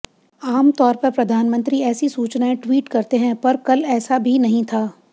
आमतौर पर प्रधानमंत्री ऐसी सूचनाएं ट्वीट करते हैं पर कल ऐसा भी नहीं था